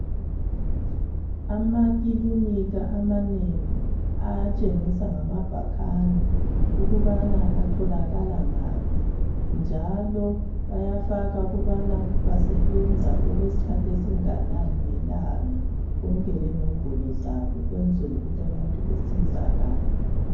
Amakilinika amanengi ayatshengisa ngamabhakane ukuba atholakala ngaphi njalo bayafaka ukuba basebenza okwesikhathi esinganani ngelanga konke lenombolo zabo ukwenzela ukuthi abantu basizakale.